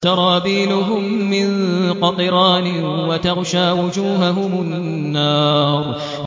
سَرَابِيلُهُم مِّن قَطِرَانٍ وَتَغْشَىٰ وُجُوهَهُمُ النَّارُ